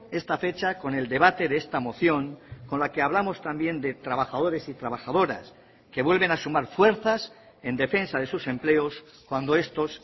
esta fecha con el debate de esta moción con la que hablamos también de trabajadores y trabajadoras que vuelven a sumar fuerzas en defensa de sus empleos cuando estos